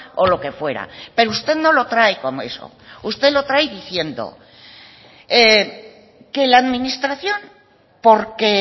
o lo que fuera pero usted no lo trae como eso usted lo trae diciendo que la administración porque